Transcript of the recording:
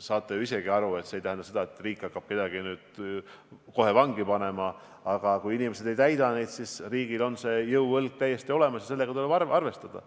saate ju isegi aru, et see ei tähenda seda, et riik hakkab nüüd kohe kedagi vangi panema, aga kui inimesed neid nõudeid ei täida, siis riigil on jõuõlg täiesti olemas ja sellega tuleb arvestada.